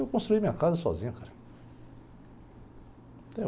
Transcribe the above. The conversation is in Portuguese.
Eu construí minha casa sozinho, cara.